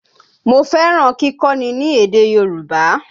Mo fẹ́ràn kíkọ́ni ní èdè Yorùbá